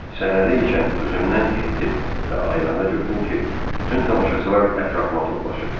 Səhnədə ikən özümdən getdim və ayılannda gördüm ki, bütün tamaşaçılar ətrafıma toplaşıb.